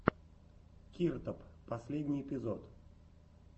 киртоп последний эпизод